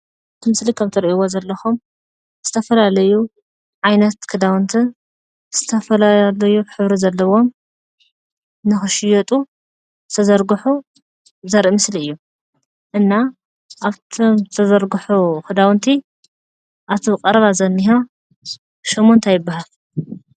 እቲ ምስሊ ከምቲትሪእዎ ዘለኹም ዝተፈላለዩ ዓይነት ክዳውንትን ዝተፈላለዩ ሕብሪ ዘለዎም ንኽሽየጡ ዝተዘርግሑ ዘርኢ ምስሊ እዩ ።እና ኣፍቶም ዝተዘርግሑ ክዳውንቲ ኣፍቲ ቀረባ ዝንሆ ሽሙ እንታይ ይባሃል?